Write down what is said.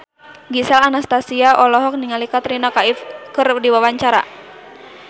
Gisel Anastasia olohok ningali Katrina Kaif keur diwawancara